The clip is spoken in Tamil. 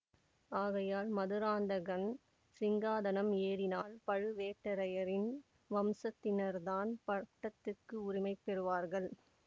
ஆகையால் மதுராந்தகன் சிங்காதனம் ஏறினால் பழுவேட்டரையரின் வம்சத்தினர்தான் பட்டத்துக்கு உரிமை பெறுவார்கள்